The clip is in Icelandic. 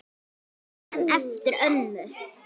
Ég man eftir ömmu.